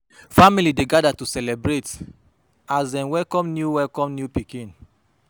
Family dey gather to celebrate as dem welcome new welcome new pikin.